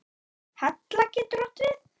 Hella getur átt við